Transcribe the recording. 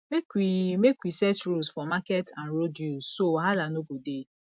make we make we set rules for market and road use so wahala no go dey